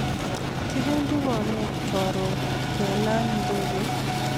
Kipendi bomet karun kelan ndegeit .